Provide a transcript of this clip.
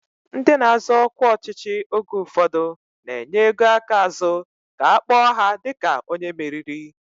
Ndị na-azọ ọkwa ọchịchị oge ụfọdụ na-enye ego aka azụ ka a kpọọ ha dịka onye meriri